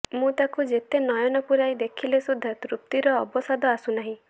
ମୁଁ ତାକୁ ଯେତେ ନୟନ ପୁରାଇ ଦେଖିଲେ ସୁଦ୍ଧା ତୃପ୍ତିର ଅବସାଦ ଆସୁନାହିଁ